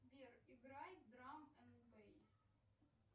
сбер играй драм энд бейс